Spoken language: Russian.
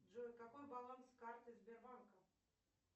джой какой баланс карты сбербанка